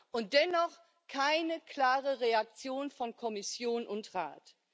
Und dennoch keine klare Reaktion von Kommission und Rat.